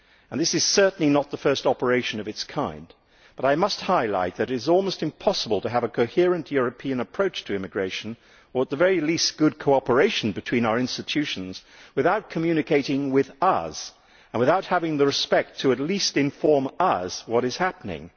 This is certainly not the first operation of its kind, but I must highlight that it is almost impossible to have a coherent European approach to immigration or at the very least good cooperation between our institutions without communicating with us and without having the respect to at least inform us what is happening.